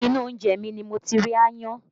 Inú oúnjẹ mi ni mo ti rí aáyán